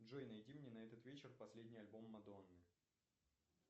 джой найди мне на этот вечер последний альбом мадонны